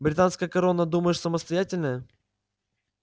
британская корона думаешь самостоятельная